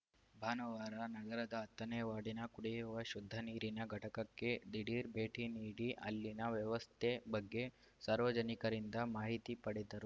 ಭಾನುವಾರ ನಗರದ ಹತ್ತನೇ ವಾರ್ಡಿನ ಕುಡಿಯುವ ಶುದ್ಧ ನೀರಿನ ಘಟಕಕ್ಕೆ ದಿಢೀರ್‌ ಭೇಟಿ ನೀಡಿ ಅಲ್ಲಿನ ವ್ಯವಸ್ಥೆ ಬಗ್ಗೆ ಸಾರ್ವಜನಿಕರಿಂದ ಮಾಹಿತಿ ಪಡೆದರು